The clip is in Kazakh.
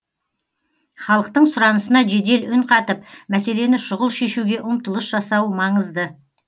халықтың сұранысына жедел үн қатып мәселені шұғыл шешуге ұмтылыс жасау маңызды